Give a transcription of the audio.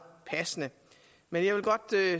passende men jeg vil godt